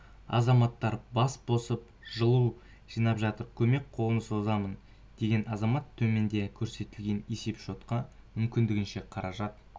азаматтар бас болып жылу жинап жатыр көмек қолын созамын деген азамат төменде көрсетілген есеп-шотқа мүмкіндігінше қаражат